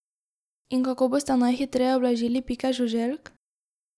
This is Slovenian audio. In kako boste najhitreje ublažili pike žuželk?